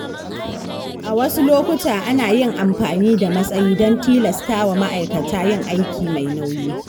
A wasu lokuta, ana yin amfani da matsayi don tilasta wa ma’aikata yin aiki mai nauyi.